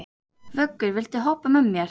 Vöggur, viltu hoppa með mér?